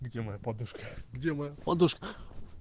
где моя подушка подушка